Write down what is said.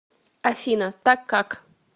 афина так как